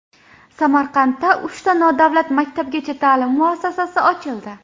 Samarqandda uchta nodavlat maktabgacha ta’lim muassasasi ochildi.